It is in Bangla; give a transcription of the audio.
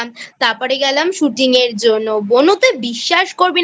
তারপরে গেলাম Shooting এর জন্য বোনু তুই বিশ্বাস করবি না